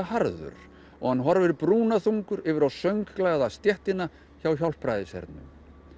harður og hann horfir brúnaþungur yfir á stéttina hjá Hjálpræðishernum